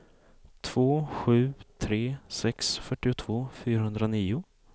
två sju tre sex fyrtiotvå fyrahundranio